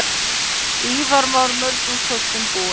Ívar var mörgum kostum búinn.